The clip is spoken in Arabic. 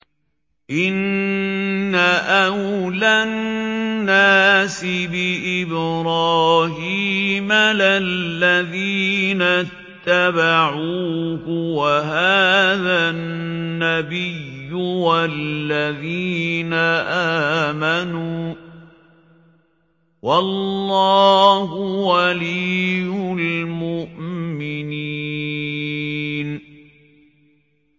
إِنَّ أَوْلَى النَّاسِ بِإِبْرَاهِيمَ لَلَّذِينَ اتَّبَعُوهُ وَهَٰذَا النَّبِيُّ وَالَّذِينَ آمَنُوا ۗ وَاللَّهُ وَلِيُّ الْمُؤْمِنِينَ